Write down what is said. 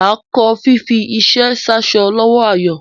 Mà á kọ́ fífi iṣẹ́ sáṣọ lọ́wọ́ Ayọ̀.